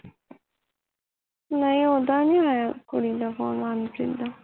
ਨਹੀਂ ਉਹਦਾ ਨੀ ਆਇਆ ਕੁੜੀ ਦਾ phone ਮਨਪ੍ਰੀਤ ਦਾ